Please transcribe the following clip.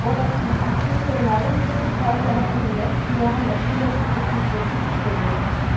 Die Volatilität der Nahrungsmittelpreise hat in den letzten Jahren aus unterschiedlichen Gründen zugenommen.